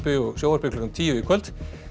og sjónvarpi klukkan tíu í kvöld